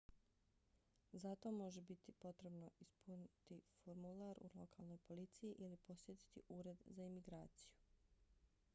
za to može biti potrebno ispuniti formular u lokalnoj policiji ili posjetiti ured za imigraciju